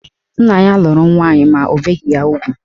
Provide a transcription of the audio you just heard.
Nna ya lụrụ nwaanyị ma o beghi ya ugwu.